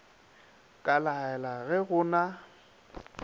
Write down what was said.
ka laela ge go na